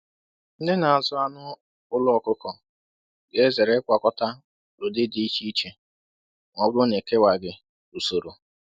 Ndị na-azụ anụ ụlọ ọkụkọ ga-ezere ịgwakọta ụdị dị iche iche ma ọ bụrụ na e kewaghị usoro